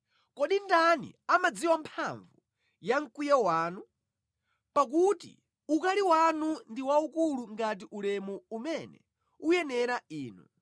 Kodi ndani amadziwa mphamvu ya mkwiyo wanu? Pakuti ukali wanu ndi waukulu ngati ulemu umene uyenera Inu.